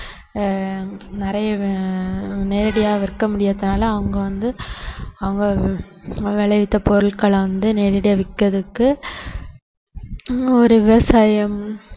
அஹ் நிறைய அஹ் நேரடியா விற்க முடியாததுனால அவங்க வந்து அவங்க விளைவித்த பொருட்களை வந்து நேரடியா விக்கிறதுக்கு ஒரு விவசாயம்